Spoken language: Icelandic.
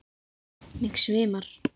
Mig svimar.